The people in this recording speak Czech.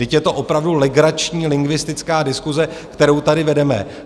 Vždyť je to opravdu legrační lingvistická diskuse, kterou tady vedeme.